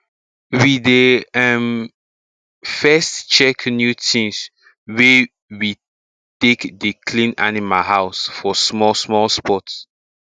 i dey um first check new tins wey we take dey clean animal house for small small spot